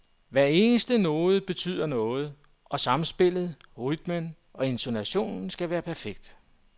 Hver eneste node betyder noget, og samspillet, rytmen og intonationen skal være perfekt.